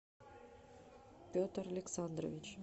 петр александрович